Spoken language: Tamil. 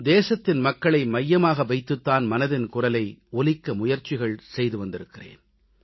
நானும் தேசத்தின் மக்களை மையமாக வைத்துத் தான் மனதின் குரலை ஒலிக்க முயற்சிகள் செய்து வந்திருக்கிறேன்